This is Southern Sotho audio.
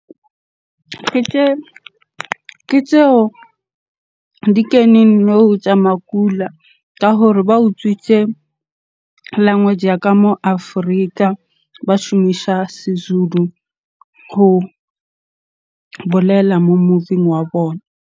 Ke tseo di keneng nou tsa makula ka hore ba utswitse language ya ka mo Afrika. Ba shumisa Sezulu ho bolela mo movie-ing wa bona.